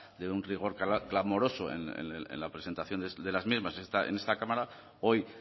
de un rigor clamoroso en la presentación de las mismas en esta cámara hoy